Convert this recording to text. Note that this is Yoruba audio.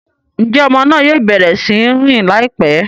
Njé ọmọ náà yóò bẹrẹ sí n rìn laipẹ?